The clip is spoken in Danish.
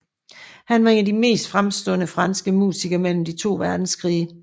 Han var en af de mest fremstående franske musikere mellem de to verdenskrige